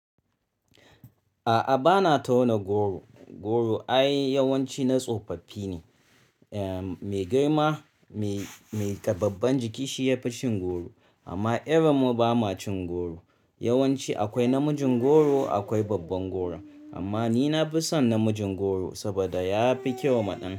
A'a bana tauna goro. Goro ai yawanci na tsofaffi ne. Eh me girma, me, me ta babban jiki shi yafi cin goro. Amma irin mu ba ma cin goro. Yawanci akwai namijin goro akwai babban goro. Amma ni na fi son namijin goro saboda ya fi kyau ma ɗan.